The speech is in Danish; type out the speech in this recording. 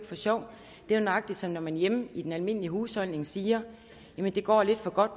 for sjov det er nøjagtig som når man hjemme i den almindelige husholdning siger det går lidt for godt